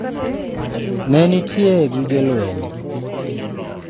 ne nitie gige lweny